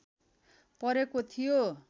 परेको थियो